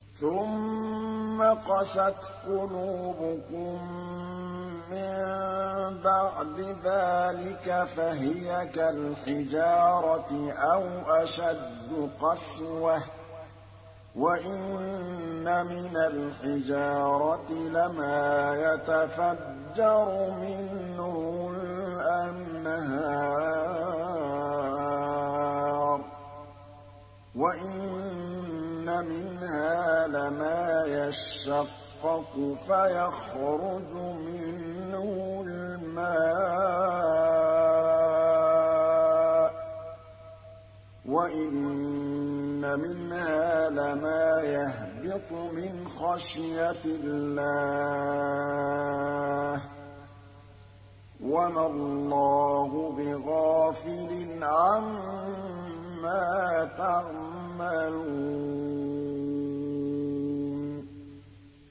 ثُمَّ قَسَتْ قُلُوبُكُم مِّن بَعْدِ ذَٰلِكَ فَهِيَ كَالْحِجَارَةِ أَوْ أَشَدُّ قَسْوَةً ۚ وَإِنَّ مِنَ الْحِجَارَةِ لَمَا يَتَفَجَّرُ مِنْهُ الْأَنْهَارُ ۚ وَإِنَّ مِنْهَا لَمَا يَشَّقَّقُ فَيَخْرُجُ مِنْهُ الْمَاءُ ۚ وَإِنَّ مِنْهَا لَمَا يَهْبِطُ مِنْ خَشْيَةِ اللَّهِ ۗ وَمَا اللَّهُ بِغَافِلٍ عَمَّا تَعْمَلُونَ